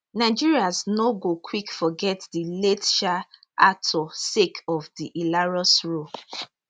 nigerians no go quick forget di late um actor sake of di hilarious role